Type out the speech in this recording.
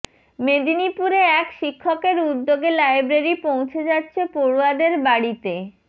মেদিনীপুরে এক শিক্ষকের উদ্যোগে লাইব্রেরি পৌঁছে যাচ্ছে পড়ুয়াদের বাড়িতে